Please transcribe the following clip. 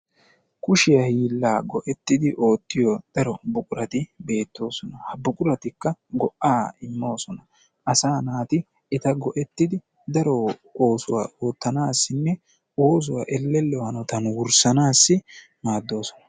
Kushiyaa giila go"etridi oottito daro buqurati beettoosona. Ha buquratikka go"a immoosona. Asa naati eta go"ettidi daro oosuwa oottanassinne oosuwa elello hanottan wurssanassi maaddoosona.